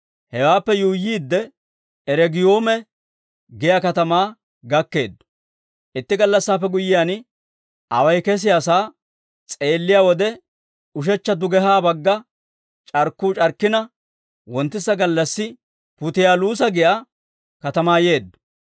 Hewaappe yuuyyiidde, Regiiyume giyaa katamaa gakkeeddo. Itti gallassaappe guyyiyaan, away kesiyaasaa s'eelliyaa wode ushechcha dugehaa bagga c'arkkuu c'arkkina, wonttisa gallassi Putiyaaluusa giyaa katamaa yeeddo.